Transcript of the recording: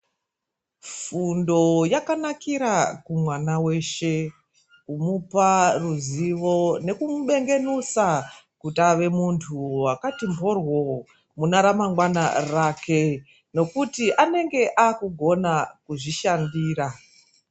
Fundo yakanakira kumwana weshe kumupa ruziwo nekumubegenusa kuti ave muntu wakati mhorwo, muneramangwana rake nekuti anenge akugona kuzvishandira.